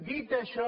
dit això